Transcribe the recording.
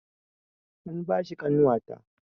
An ba shi ƙanwata